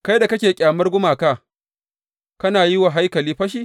Kai da kake ƙyamar gumaka, kana wa haikali fashi?